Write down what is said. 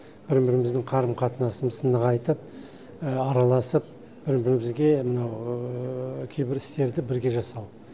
бір біріміздің қарым қатынасымыз нығайтып араласып бір бірімізге мынау кейбір істерді бірге жасау